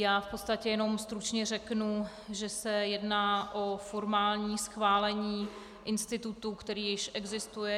Já v podstatě jenom stručně řeknu, že se jedná o formální schválení institutu, který již existuje.